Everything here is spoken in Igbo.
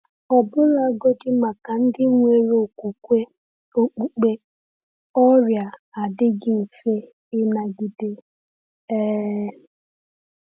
Ọbụlagodi maka ndị nwere okwukwe okpukpe, ọrịa adịghị mfe ịnagide. um